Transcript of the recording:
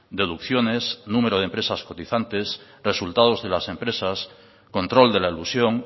deducciones número de empresas cotizantes resultados de las empresas control de la elusión